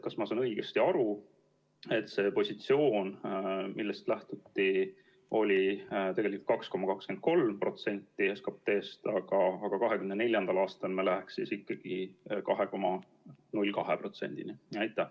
Kas ma saan õigesti aru, et see positsioon, millest lähtuti, oli tegelikult 2,23% SKT‑st, aga 2024. aastal me läheks siis ikkagi 2,02%‑ni?